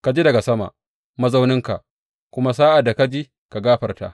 Ka ji daga sama, mazauninka; kuma sa’ad da ka ji, ka gafarta.